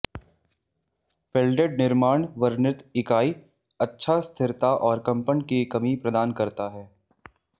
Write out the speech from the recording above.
welded निर्माण वर्णित इकाई अच्छा स्थिरता और कंपन की कमी प्रदान करता है